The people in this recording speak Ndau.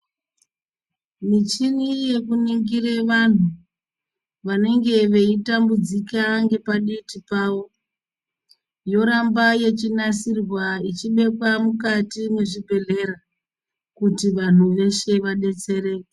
Michina yekunimgura vantu vanenge veitambudzika nepaditi pawo yoramba yeinasirwa ichibekwa mukati mezvibhedhlera kuti vantu veshe vadetsererwe.